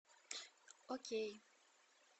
окей